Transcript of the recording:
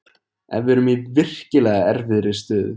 Við erum í virkilega erfiðri stöðu.